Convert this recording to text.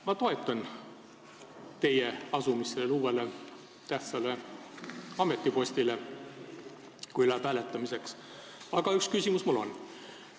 Ma toetan teie asumist sellele uuele tähtsale ametipostile, kui läheb hääletamiseks, aga üks küsimus mul on.